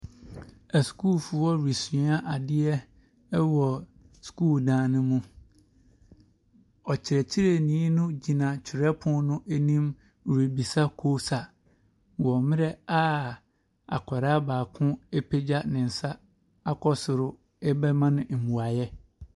Asukuufo resua adeɛ wɔ sukuu dan no mu. Ɔkyerɛkyerɛni no gyina twerɛpono anim rebisa kosa wɔ mmerɛ a akwaraa baako apegya ne nsa akɔ soro rebɛma no mmuaeɛ.